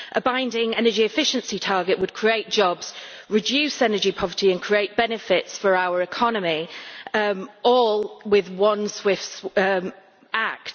A binding energy efficiency target would create jobs, reduce energy poverty and create benefits for our economy all with one swift act.